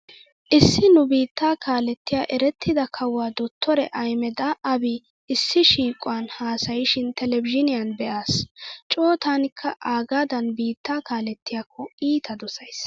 Issi nu biittaa kaalettiya erettida kawuwa dottore Ahimeda Aabi issi shiiquwan haasayishin televizhiiniyan be'aas. Coo taanikka aagaadan biittaa kalettiyakko iita dosays.